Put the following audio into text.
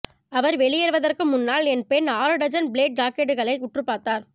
அவர் வெளியேறுவதற்கு முன்னால் என் பெண் ஆறு டஜன் பிளேட் ஜாக்கெட்டுகளை உற்றுப் பார்த்தார்